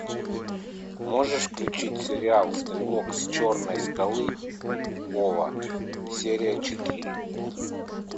можешь включить сериал стрелок с черной скалы ова серия четыре